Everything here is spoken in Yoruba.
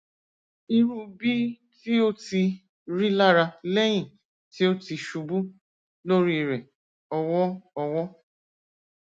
iru bi ti o ti rilara lẹhin ti o ti ṣubu lori rẹ ọwọ ọwọ